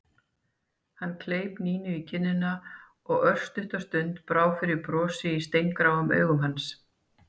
Hann kleip Nínu í kinnina og örstutta stund brá fyrir brosi í steingráum augum hans.